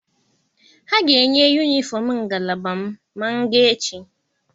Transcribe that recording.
Ha ga-enye yunifọm ngalaba m ma m gaa echi.